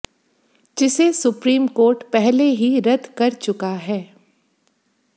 जिसे supreme court पहले ही रद कर चुका है